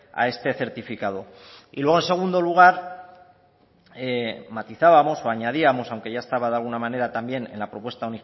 a este certificado y luego en segundo lugar matizábamos o añadíamos aunque ya estaba de alguna manera también en la propuesta